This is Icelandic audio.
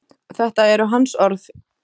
Þetta eru hans orð.